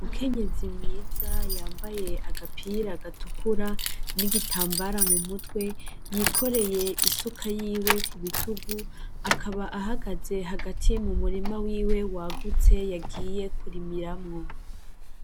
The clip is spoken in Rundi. Umukenyezi mwiza yambaye agapira gatukura n'igitambara mu mutwe yikoreye isuka yiwe ku bitugu, akaba ahagaze hagati mu murima wiwe wagutse, yagiye kurimiramwo.